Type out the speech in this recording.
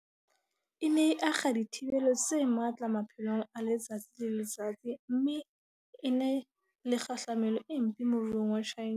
E ne e akga dithibelo tse matla maphelong a letsatsi le letsatsi mme e na le kgahlamelo e mpe moruong wa China.